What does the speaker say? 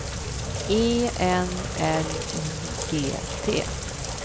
E N L I G T